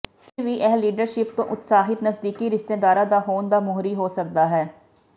ਫਿਰ ਵੀ ਇਹ ਲੀਡਰਸ਼ਿਪ ਤੋਂ ਉਤਸ਼ਾਹਤ ਨਜ਼ਦੀਕੀ ਰਿਸ਼ਤੇਦਾਰਾਂ ਦਾ ਹੋਣ ਦਾ ਮੋਹਰੀ ਹੋ ਸਕਦਾ ਹੈ